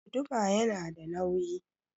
Guduma yana da nauyi